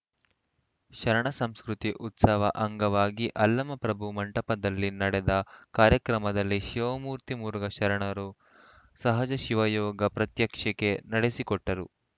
ಶರಣ ಸಂಸ್ಕೃತಿ ಉತ್ಸವ ಅಂಗವಾಗಿ ಅಲ್ಲಮಪ್ರಭು ಮಂಟಪದಲ್ಲಿ ನಡೆದ ಕಾರ್ಯಕ್ರಮದಲ್ಲಿ ಶಿವಮೂರ್ತಿ ಮುರುಘಾ ಶರಣರು ಸಹಜ ಶಿವಯೋಗ ಪ್ರಾತ್ಯಕ್ಷಿಕೆ ನಡೆಸಿಕೊಟ್ಟರು